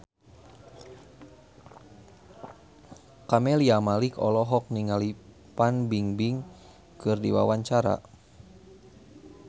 Camelia Malik olohok ningali Fan Bingbing keur diwawancara